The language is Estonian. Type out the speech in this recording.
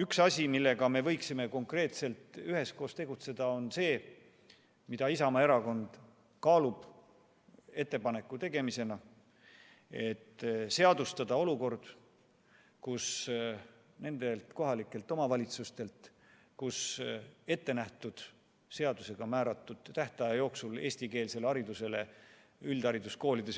Üks asi, mille kallal me võiksime konkreetselt üheskoos tegutseda, on see, mille kohta Isamaa Erakond kaalub teha ettepaneku: seadustada olukord, et nendelt kohalikelt omavalitsustelt, kus seadusega määratud tähtaja jooksul üldhariduskoolides eestikeelsele haridusele